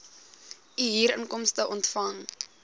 u huurinkomste ontvang